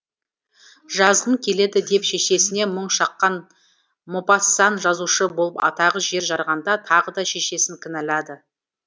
жазғым келеді деп шешесіне мұң шаққан мопассан жазушы болып атағы жер жарғанда тағы да шешесін кінәлады